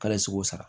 K'ale seko sara